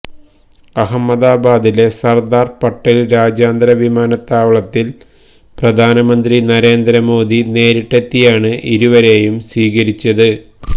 അഹമ്മദാബാദിലെ സര്ദാര് പട്ടേല് രാജ്യാന്തര വിമാനത്താവളത്തില് പ്രധാനമന്ത്രി നരേന്ദ്രമോദി നേരിട്ടെത്തിയാണ് ഇരുവരേയും സ്വീകരിച്ചത്